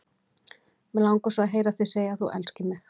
Mig langar svo að heyra þig segja að þú elskir mig!